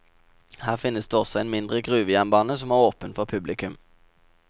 Her finnes det også en mindre gruvejernbane som er åpen for publikum.